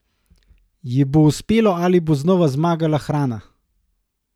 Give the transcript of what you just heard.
Ji bo uspelo ali bo znova zmagala hrana?